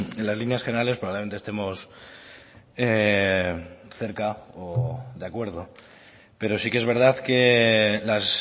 en las líneas generales probablemente estemos cerca o de acuerdo pero sí que es verdad que las